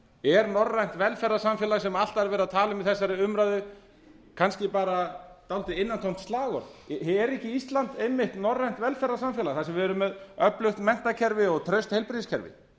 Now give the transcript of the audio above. er norrænt velferðarsamfélag sem alltaf er verið að tala um í þessari umræðu kannski bara dálítið innantómt slagorð er ekki ísland einmitt norrænt velferðarsamfélag þar sem við erum með öflugt menntakerfi og traust heilbrigðiskerfi